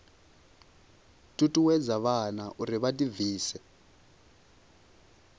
ṱuṱuwedza vhana uri vha ḓibvise